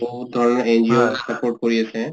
বহুত ধৰনৰ NGO ই support কৰি আছে ।